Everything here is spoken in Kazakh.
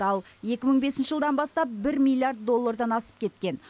ал екі мың бесінші жылдан бастап бір миллиард доллардан асып кеткен